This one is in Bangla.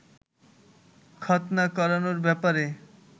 খতনা করানোর ব্যাপারে